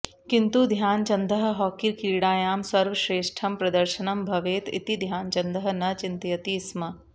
किन्तु ध्यानचन्दः हॉकी क्रीडायां सर्वश्रेष्ठं प्रदर्शनं भवेत् इति ध्यानचन्दः न चिन्तयति स्म